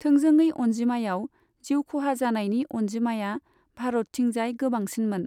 थोंजोङै अनजिमायाव, जिउखहाजानायनि अनजिमाया भारतथिंजाय गोबांसिनमोन।